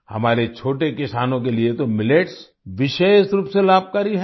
हमारे छोटे किसानों के लिए तो मिलेट्स विशेष रूप से लाभकारी है